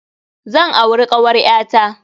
Zan auri kawar ƴa ta.